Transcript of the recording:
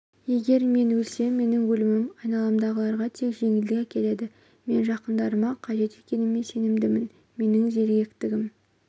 егер мен өлсем менің өлімім айналамдағыларға тек жеңілдік әкеледі мен жақындарыма қажет екеніме сенімдімін менің зеректігім